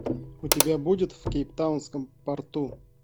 у тебя будет в кейптаунском порту